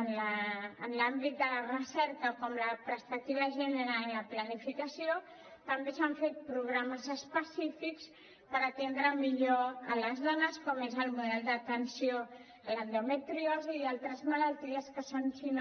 en l’àmbit de la recerca com la perspectiva de gènere en la planificació també s’han fet programes específics per atendre millor les dones com és el model d’atenció a l’endometriosi i altres malalties que són si no